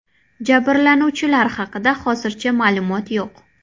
Jabrlanuvchilar haqida hozircha ma’lumot yo‘q.